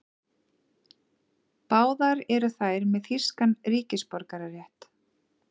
Báðar eru þær með þýskan ríkisborgararétt